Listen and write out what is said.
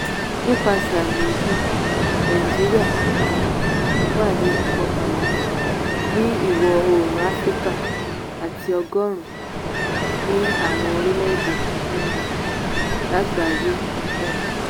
nípasẹ̀ àmì yìí nàìjíríà um wà ní ipò kọkànlá ní ìwọ̀ oòrùn áfíríkà àti ọgọ́rùn-ún ní àwọn orílẹ̀-èdè um lágbàáyé um